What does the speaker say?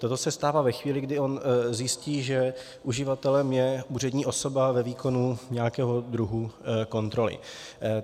Toto se stává ve chvíli, kdy on zjistí, že uživatelem je úřední osoba ve výkonu nějakého druhu kontroly.